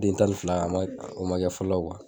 A den tan ni fila a ma kɛ fɔlɔ